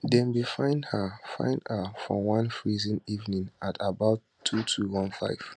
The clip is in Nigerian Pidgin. dem bin find her find her for one freezing evening at about 2215